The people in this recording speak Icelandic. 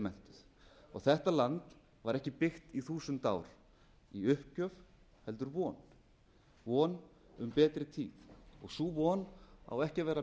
menntuð þetta land var ekki byggt í þúsund ár í uppgjöf heldur von von um betri tíma sú von á ekki að vera